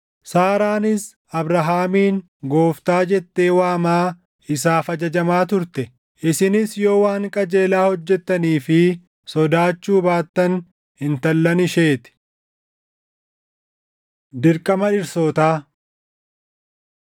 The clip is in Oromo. Saaraanis Abrahaamiin “Gooftaa” jettee waamaa isaaf ajajamaa turte. Isinis yoo waan qajeelaa hojjettanii fi sodaachuu baattan intallan ishee ti. Dirqama Dhirsootaa